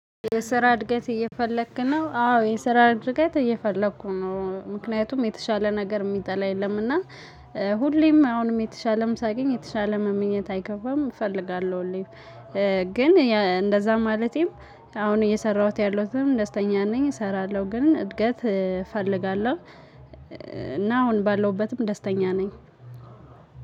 የስራ እድገት እየፈለክ ነው አዎ የስራ እድገት እየፈለኩ ነው ምክንያቱም የተሻለ ነገር ሚጠላ የለም። እና ሁሌም አሁንም የተሻለም ሳገኝ የተሻለ መመኘት አይከፋም እፈልጋለሁ። ሁሌም ግን እንደዛ ማለቴም አሁን እየሰራሁት ያለሁትም ደስተኛ ነኝ። እሰራለሁ ግን እድገት እፈልጋለሁ። እና አሁን ባለውበትም ደስተኛ ነኝ።